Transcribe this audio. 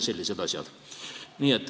Sellised asjad.